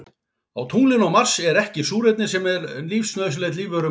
Á tunglinu og Mars er ekki súrefni sem er nauðsynlegt lífverum á jörðinni.